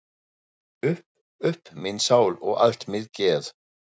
Upp upp mín sál og allt mitt geð!